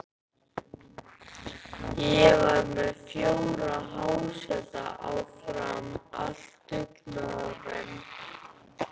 Ég var með fjóra háseta á Fram, allt dugnaðarmenn.